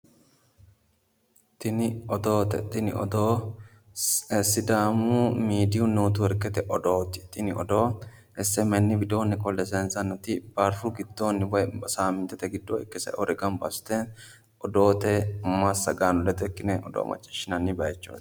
Tini odoote. Tini odoo sidaamu miidiyi neetiworkete odooti. Tini odoo smn widoonni qolle sayiinsanniti saamintete giddo ikke sa"inore gamba assite odoote massagaano ledo ikkine odoo machiishinanni bayichooti.